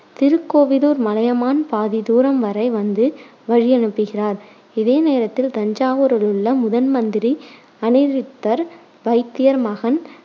திருக்கோவிலூர் மலையமான் பாதி தூரம் வரை வந்து வழியனுப்புகிறார். இதே நேரத்தில் தஞ்சாவூரில் முதன்மந்திரி அநிருத்தர், வைத்தியர் மகன்